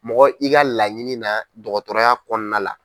Mɔgɔ i ka laɲini na dɔgɔtɔrɔya kɔnɔna la.